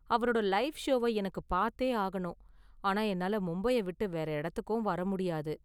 அவரோட லைவ் ஷோவ எனக்கு பார்த்தே ஆகணும், ஆனா என்னால மும்பைய விட்டு வேற இடத்துக்கும் வர முடியாது.